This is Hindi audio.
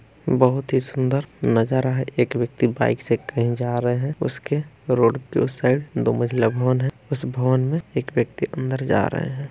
बहुत ही सुन्दर नजारा है एक व्यक्ति बाइक से कहीं जा रहे है उसके रोड के उस साइड दो मंजिला भवन है उस भवन में एक व्यक्ति अंदर जा रहे है।